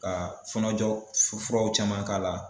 Ka fɔnɔjɔ furaw caman k'a la.